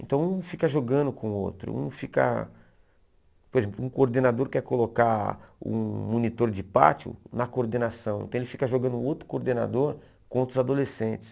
Então um fica jogando com o outro, um fica, por exemplo, um coordenador quer colocar um monitor de pátio na coordenação, então ele fica jogando outro coordenador com outros adolescentes.